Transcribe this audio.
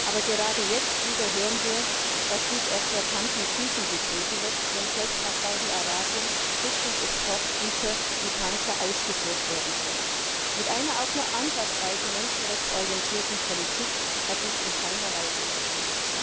Aber gerade jetzt hören wir wieder, dass dies eklatant mit Füßen getreten wird, wenn selbst nach Saudi Arabien Rüstungsexportgüter wie Panzer ausgeführt werden sollen. Mit einer auch nur ansatzweise menschenrechtsorientierten Politik hat das in keiner Weise zu tun.